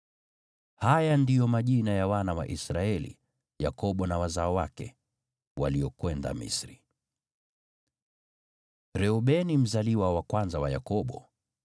Haya ndiyo majina ya wana wa Israeli (Yakobo na wazao wake), waliokwenda Misri: Reubeni mzaliwa wa kwanza wa Yakobo.